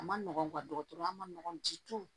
A ma nɔgɔn dɔgɔtɔrɔya manɔgɔn jiw